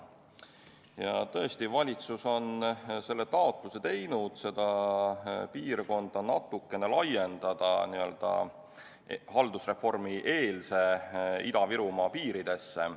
Ja tõesti, valitsus on teinud taotluse seda piirkonda natukene laiendada, n-ö haldusreformieelse Ida-Virumaa piiridesse.